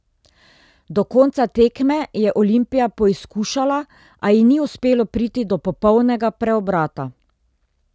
Do konca tekme je Olimpija poizkušala, a ji ni uspelo priti do popolnega preobrata.